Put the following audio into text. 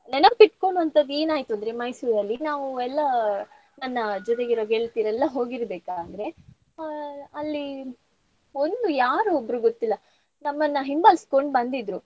ನೆನಪ್ ಇಟ್ಕೊಳ್ಳುವಂತದ್ದ್ ಏನ್ ಆಯ್ತು ಅಂದ್ರೆ ಮೈಸೂರಲ್ಲಿ ನಾವು ಎಲ್ಲ ನನ್ನ ಜೊತೆಗಿರುವ ಗೆಳತಿಯರೆಲ್ಲ ಹೋಗಿರ್ಬೇಕಾದ್ರೆ ಆ ಅಲ್ಲಿ ಒಂದು ಯಾರೊ ಒಬ್ರು ಗೊತ್ತಿಲ್ಲ ನಮ್ಮನ ಹಿಂಬಾಲಿಸ್ಕೊಂಡ್ ಬಂದಿದ್ರು.